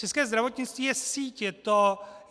České zdravotnictví je síť.